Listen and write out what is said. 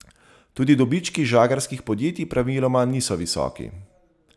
Tudi dobički žagarskih podjetij praviloma niso visoki.